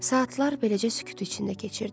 Saatlar beləcə sükut içində keçirdi.